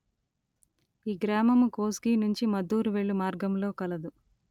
ఈ గ్రామము కోస్గి నుంచి మద్దూరు వెళ్ళు మార్గములో కలదు